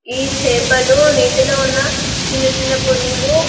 ఈ చేపలు నీటులో ఉన్న చిన్న చిన్న పురువులు --